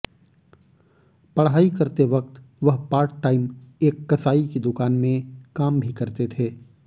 पढ़ाई करते वक्त वह पार्ट टाइम एक कसाई की दुकान में काम भी करते थे